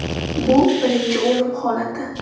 Bu birinchi o‘lim holati.